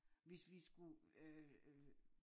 Hvis vi skulle øh øh